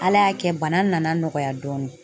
Ala y'a kɛ bana nana nɔgɔya dɔɔni.